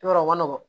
I b'a dɔn o nɔgɔn